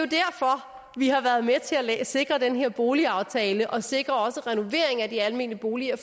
vi har været med til at sikre den her boligaftale og sikre også renovering af de almene boliger